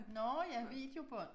Nåh ja videobånd